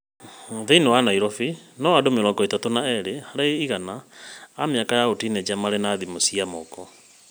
Thĩinĩ wa Nairobi, no andũ mĩrongo ĩtat ũ na erĩ harĩ igana a mĩaka ya ũtinĩnja maarĩ na thimũ cia moko.